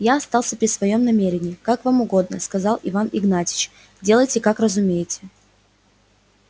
я остался при своём намерении как вам угодно сказал иван игнатьич делайте как разумеете